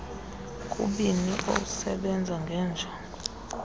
kubini osebenza ngeenjogo